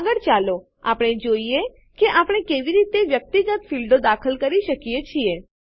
આગળ ચાલો આપણે જોઈએ કે આપણે કેવી રીતે વ્યક્તિગત ફીલ્ડો ક્ષેત્રો દાખલ કરી શકીએ છીએ